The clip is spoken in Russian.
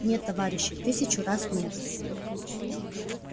нет товарищи тысячу раз нет